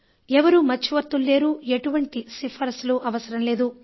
ఎవరూ మధ్యవర్తులు లేరు ఎటువంటి సిఫార్సులు అవసరం లేదు